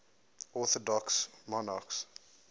orthodox monarchs